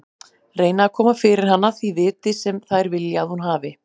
Reyna að koma fyrir hana því viti sem þær vilja að hún hafi.